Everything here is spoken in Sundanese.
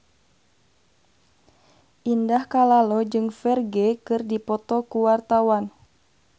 Indah Kalalo jeung Ferdge keur dipoto ku wartawan